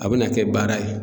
A bena kɛ baara ye